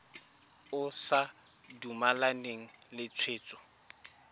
o sa dumalane le tshwetso